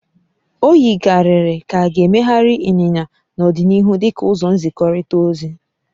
O yikarịrị ka a ga-emegharị ịnyịnya n'ọdịnihu dị ka ụzọ nzikọrịta ozi